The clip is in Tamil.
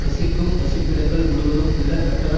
வசிக்கும் வசிப்பிடங்கள் முழுவதும் உள்ள கட்டண